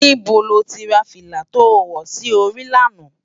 Nibó ló ti rá filá tó wò si óri làná?